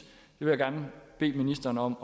jeg vil gerne bede ministeren om